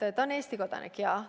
Kas ta on Eesti kodanik?